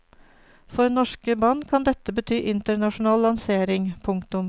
For norske band kan dette bety internasjonal lansering. punktum